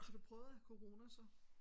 Har du prøvet at have corona så?